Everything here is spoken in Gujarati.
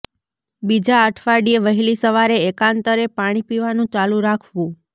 બીજા અઠવાડિયે વહેલી સવારે એકાંતરે પાણી પીવાનું ચાલુ રાખવું